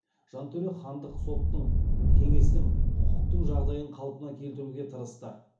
жантөре хандық соттың кеңестің құқықтық жағдайын қалпына келтіруге тырысты